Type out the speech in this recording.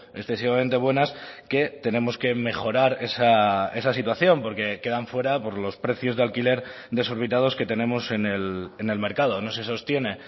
excesivamente buenas que tenemos que mejorar esa situación porque quedan fuera por los precios de alquiler desorbitados que tenemos en el mercado no se sostiene